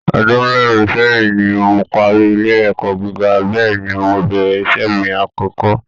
Ọdún mẹ́rin sẹ́yìn ni mo parí ilé ẹ̀kọ́ gíga, bẹ́ẹ̀ ni mo bẹ̀rẹ̀ iṣẹ́ mi àkọ́kọ́